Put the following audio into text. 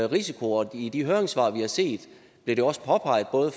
risiko og i de høringssvar vi har set bliver det også påpeget både af